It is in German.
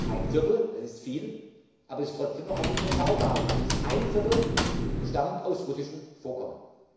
Ein Viertel das ist viel, aber es ist trotzdem noch eine überschaubare Größe stammt aus russischen Vorkommen.